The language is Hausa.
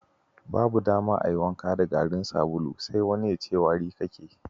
Babu dama ka yi wanka da garin sabulu sai wani ya ce wari kake!